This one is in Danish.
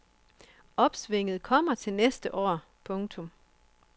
Opsvinget kommer til næste år. punktum